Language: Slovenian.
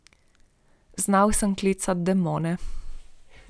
Znal sem klicati demone.